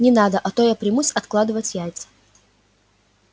не надо а то я примусь откладывать яйца